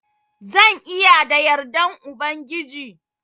Zan iya da yardan Ubangiji.